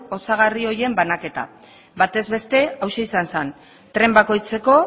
osagarri horien banaketa bataz beste hauxe izan zen tren bakoitzeko